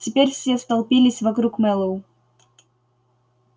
теперь все столпились вокруг мэллоу